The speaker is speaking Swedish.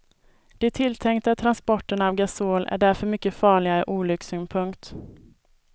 De tilltänkta transporterna av gasol är därför mycket farliga ur olyckssynpunkt.